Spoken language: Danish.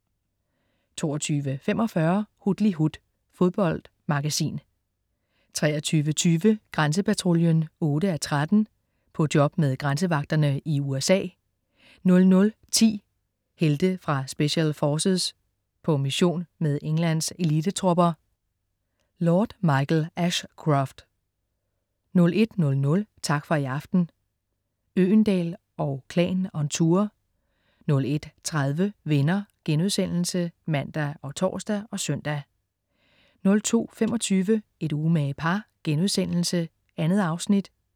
22.45 Hutlihut. Fodboldmagasin 23.20 Grænsepatruljen 8:13. På job med grænsevagterne i USA 00.10 Helte fra Special Forces. På mission med Englands elitetropper. Lord Michael Ashcroft 01.00 Tak for i aften, Øgendahl & Klan on tour 01.30 Venner* (man og tors og søn) 02.25 Et umage par.* 2 afsnit